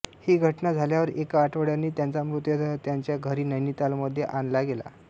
ही घटना झाल्यावर एका आठवड्यांनी त्यांचा मृतदेह त्यांच्या घरी नैनितालमध्ये आणला गेला